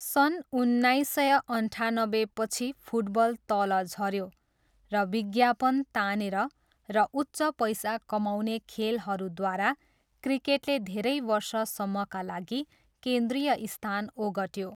सन् उन्नाइस सय अन्ठानब्बेपछि, फुटबल तल झऱ्यो र विज्ञापन तानेर र उच्च पैसा कमाउने खेलहरूद्वारा क्रिकेटले धेरै वर्षसम्मका लागि केन्द्रीय स्थान ओगट्यो।